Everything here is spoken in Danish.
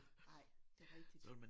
Nej det rigtigt